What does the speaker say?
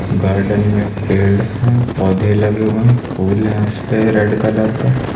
Garden में पेड़ है पौधे लगे हुए हैं फूल है उसेपे रेड कलर का।